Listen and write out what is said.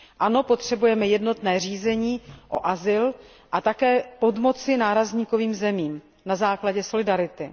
Ano, potřebujeme jednotné řízení o azyl a také potřebujeme pomoci nárazníkovým zemím na základě solidarity.